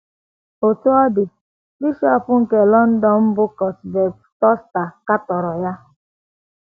Otú ọ dị, bishọp nke London, bụ́ Cuthbert Tunstall, katọrọ ya.